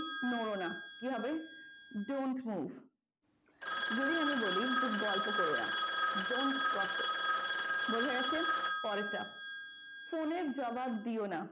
নোড়ো না কি হবে? don't move যদি আমরা বলি যে গল্প করোনা don't gossip বোঝা গেছে? পরেরটা phone এর জবাব দিও না।